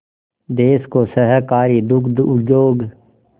देश को सहकारी दुग्ध उद्योग